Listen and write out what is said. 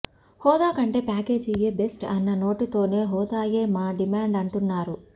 హోదా కంటే ప్యాకేజీయే బెస్ట్ అన్న నోటితోనే హోదాయే మా డిమాండ్ అంటున్నారు